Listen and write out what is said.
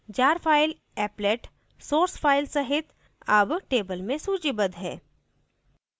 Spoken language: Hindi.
jar file applet source file सहित अब table में सूचीबद्ध है